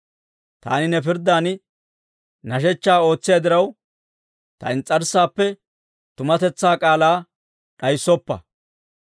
Taani ne pirddan nashshechchaa ootsiyaa diraw, ta ins's'arssaappe tumatetsaa k'aalaa d'ayissoppa.